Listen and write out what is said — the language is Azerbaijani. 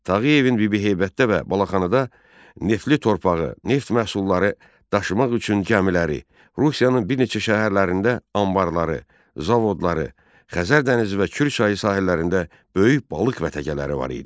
Tağıyevin Bibiheybətdə və Balaxanada neftli torpağı, neft məhsulları daşımaq üçün gəmiləri, Rusiyanın bir neçə şəhərlərində anbarları, zavodları, Xəzər dənizi və Kür çayı sahillərində böyük balıq vətəgələri var idi.